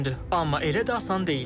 Amma elə də asan deyil.